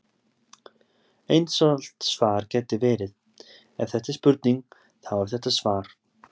Einfalt svar gæti verið: Ef þetta er spurning, þá er þetta svar.